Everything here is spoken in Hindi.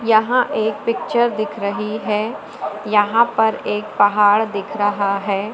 यहां एक पिक्चर दिख रही है यहां पर एक पहाड़ दिख रहा है।